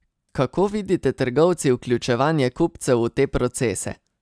Kako vidite trgovci vključevanje kupcev v te procese?